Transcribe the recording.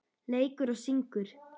Leikur og syngur.